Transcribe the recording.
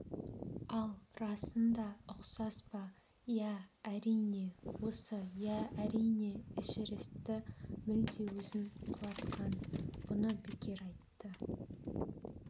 ал расында ұқсас па иә әрине осы иә әрине эшерестті мүлде өзін құлатқан бұны бекер айтты